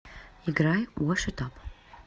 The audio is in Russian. играй вошд ап